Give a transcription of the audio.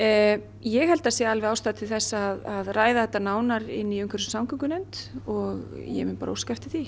ég held að það sé alveg ástæða til að ræða þetta nánar inni í umhverfis og samgöngunefnd og ég mun bara óska eftir því